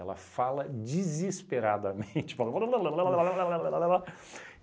Ela fala desesperadamente